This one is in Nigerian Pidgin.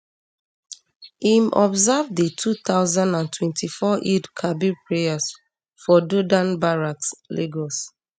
im observe di two thousand and twenty-four eidelkabir prayers for dodan barracks um lagos